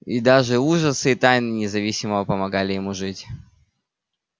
и даже ужасы и тайны независимо помогали ему жить